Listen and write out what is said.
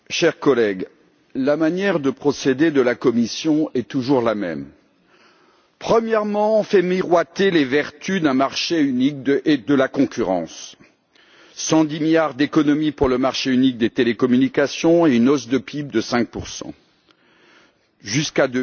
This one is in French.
Monsieur le Président, chers collègues, la manière de procéder de la Commission est toujours la même. Premièrement, on fait miroiter les vertus d'un marché unique et de la concurrence 110 milliards d'économies pour le marché unique des télécommunications et une hausse du PIB de 5 jusqu'à